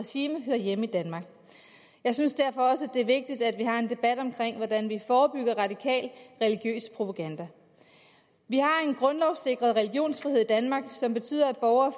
regime hører hjemme i danmark jeg synes derfor også det er vigtigt at vi har en debat om hvordan vi forebygger radikal religiøs propaganda vi har en grundlovssikret religionsfrihed i danmark som betyder at borgere